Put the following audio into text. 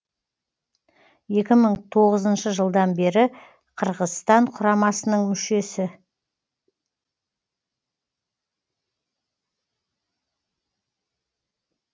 екі мың тоғызыншы жылдан бері қырғызстан құрамасының мүшесі